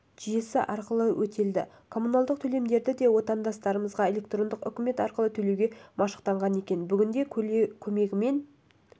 жүйесі арқылы өтелді коммуналдық төлемдерді де отандастарымыз электрондық үкімет арқылы төлеуге машықтанған екен бүгінде көмегімен